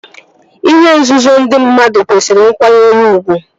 Ihe nzuzo ndị mmadụ kwesịrị nkwanyere ugwu